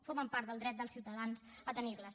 formen part del dret dels ciutadans a tenirles